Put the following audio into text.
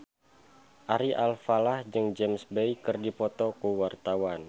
Ari Alfalah jeung James Bay keur dipoto ku wartawan